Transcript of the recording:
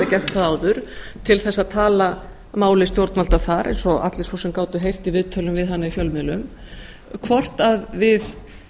gert það áður til að tala máli stjórnvalda þar eins og allir gátu heyrt í viðtali við hana í fjölmiðlum hvort við